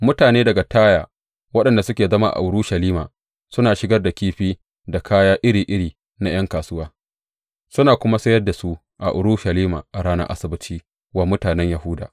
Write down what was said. Mutane daga Taya waɗanda suke zama a Urushalima suna shigar da kifi da kaya iri iri na ’yan kasuwa suna kuma sayar da su a Urushalima a ranar Asabbaci wa mutanen Yahuda.